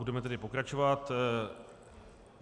Budeme tedy pokračovat.